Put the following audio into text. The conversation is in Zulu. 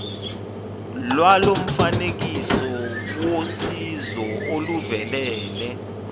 lwalomfanekiso wosizo oluvelele